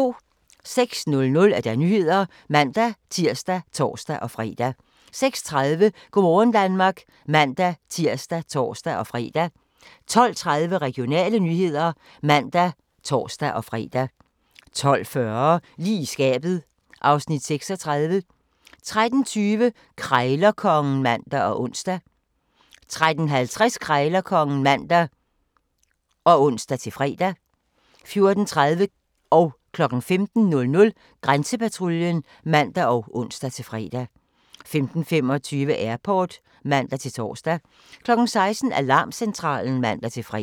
06:00: Nyhederne (man-tir og tor-fre) 06:30: Go' morgen Danmark (man-tir og tor-fre) 12:30: Regionale nyheder (man og tor-fre) 12:40: Lige i skabet (Afs. 36) 13:20: Krejlerkongen (man og ons) 13:50: Krejlerkongen (man og ons-fre) 14:30: Grænsepatruljen (man og ons-fre) 15:00: Grænsepatruljen (man og ons-fre) 15:25: Airport (man-tor) 16:00: Alarmcentralen (man-fre)